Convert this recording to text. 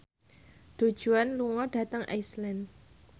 Du Juan lunga dhateng Iceland